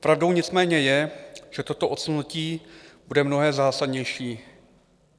Pravdou nicméně je, že toto odsunutí bude mnohem zásadnější.